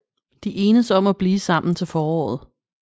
De enes om at blive sammen til foråret